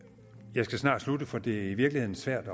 jeg skal snart slutte for det er i virkeligheden svært